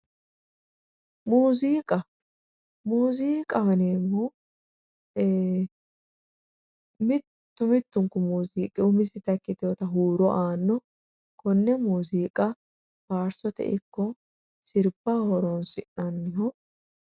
Muziiqa, muziiqaho yineemmohu ee mitu mitunku muziiqi umisitta ikkitinotta huuro aanoho konne muziiqa faarsote ikko sirbaho horonsi'nanniho